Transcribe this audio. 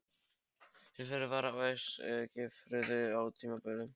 Taflfélag var á Eskifirði á tímabili.